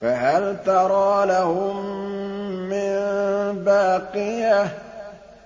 فَهَلْ تَرَىٰ لَهُم مِّن بَاقِيَةٍ